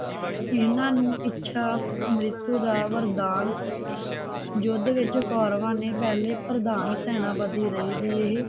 ਇਹਨਾਂ ਨੂੰ ਇੱਛਾ ਅੰਮ੍ਰਿਤ ਦਾ ਵਰਦਾਨ ਸੀ ਯੁੱਧ ਵਿਚ ਕੌਰਵਾ ਨੇ ਪਹਿਲੇ ਪ੍ਰਧਾਨ ਸੈਨਾਪਤੀ ਰਹੇ ਸੀ ਇਹ